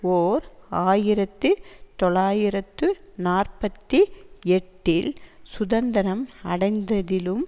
ஓர் ஆயிரத்து தொள்ளாயிரத்து நாற்பத்தி எட்டில் சுதந்திரம் அடைந்ததிலும்